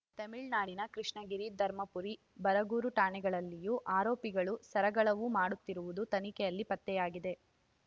ತಮಿಳ್ ನಾಡಿನ ಕೃಷ್ಣಗಿರಿ ಧರ್ಮಪುರಿ ಬರಗೂರು ಠಾಣೆಗಳಲ್ಲಿಯೂ ಆರೋಪಿಗಳು ಸರಗಳವು ಮಾಡುತ್ತಿರುವುದು ತನಿಖೆಯಲ್ಲಿ ಪತ್ತೆಯಾಗಿದೆ